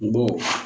N bo